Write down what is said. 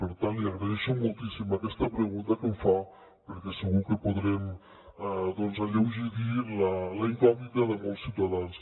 per tant li agraeixo moltíssim aquesta pregunta que em fa perquè segur que podrem doncs alleugerir la incògnita de molts ciutadans